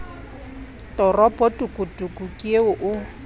toropo tokotoko ke eo o